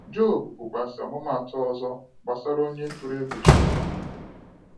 Job bụ kwazi ọmụmụ atụ ọzọ gbasara onye tụrụ egwu Chineke.